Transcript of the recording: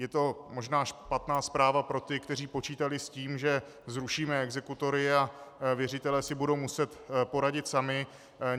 Je to možná špatná zpráva pro ty, kteří počítali s tím, že zrušíme exekutory a věřitelé si budou muset poradit sami.